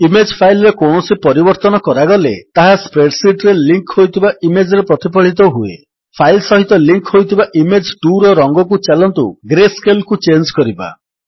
image file ରେ କୌଣସି ପରିବର୍ତ୍ତନ କରାଗଲେ ତାହା ସ୍ପ୍ରେଡ୍ ଶୀଟ୍ ରେ ଲିଙ୍କ ହୋଇଥିବା ଇମେଜ୍ ରେ ପ୍ରତିଫଳିତ ହୁଏ ଫାଇଲ୍ ସହିତ ଲିଙ୍କ୍ ହୋଇଥିବା ଇମେଜ୍ 2ର ରଙ୍ଗକୁ ଚାଲନ୍ତୁ ଗ୍ରେସ୍କେଲ୍ କୁ ଚେଞ୍ଜ୍ କରିବା